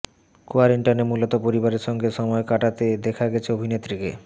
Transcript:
কোয়ারেন্টাইনে মূলত পরিবারের সঙ্গেই সময় কাটাতে দেখা গেছে অভিনেত্রীকে